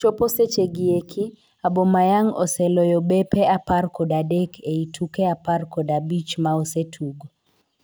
Chopo seche gi eki, Aubameyang oseloyo bepe apar kod adek ei tuke apar kod abich ma osetugo.